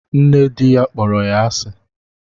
Nne di ya kpọrọ ya asi